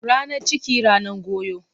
Ranan ciki, ranan goyo.